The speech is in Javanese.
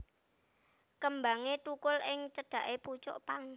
Kembangé thukul ing cedhaké pucuk pang